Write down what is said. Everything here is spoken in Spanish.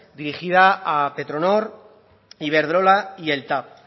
dirigida a petronor iberdrola y el tav